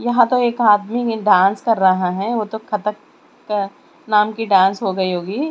यहां तो एक आदमी ने डांस कर रहा है वो तो कतक क नाम की डांस हो गई होगी।